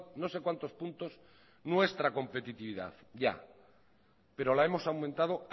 no sé cuántos puntos nuestra competitividad ya pero la hemos aumentado